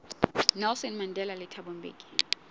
nelson mandela le thabo mbeki